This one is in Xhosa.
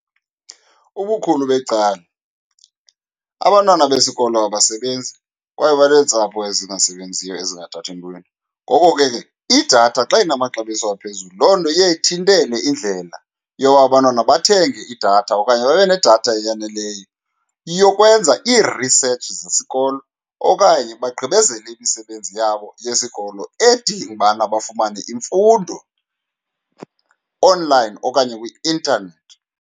Ubukhulu becala abantwana besikolo abasebenzi kwaye baneentsapho ezingasebenziyo, ezingathathi ntweni. Ngoko ke, idatha xa inamaxabiso aphezulu loo nto iye ithintele indlela yoba abantwana bathenge idatha okanye babe nedatha eyaneleyo yokwenza iirisetshi zesikolo okanye bagqibezele imisebenzi yabo yesikolo edinga ubana bafumane imfundo onlayini okanye kwi-intanethi.